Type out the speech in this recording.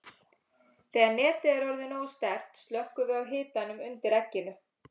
Þegar netið er orðið nógu sterkt slökkvum við á hitanum undir egginu.